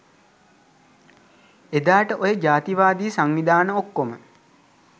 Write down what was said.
එදාට ඔය ජාතිවාදී සංවිධාන ඔක්කොම